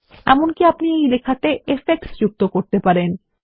এমনকি আপনি এই লেখাতে ইফেক্টস যুক্ত করতে পারেন